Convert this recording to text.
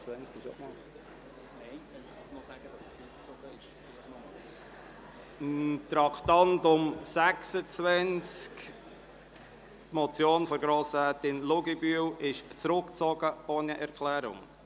Das Traktandum 26, die Motion von Grossrätin Luginbühl, ist zurückgezogen, ohne Erklärung.